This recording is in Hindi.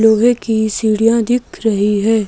लोहे की सीढ़ियां दिख रही है।